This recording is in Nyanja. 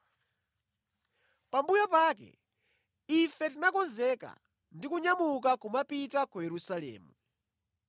Pambuyo pake, ife tinakonzeka ndi kunyamuka kumapita ku Yerusalemu.